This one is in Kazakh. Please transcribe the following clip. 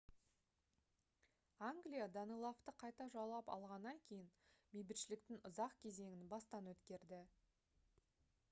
англия данелавты қайта жаулап алғаннан кейін бейбітшіліктің ұзақ кезеңін бастан өткерді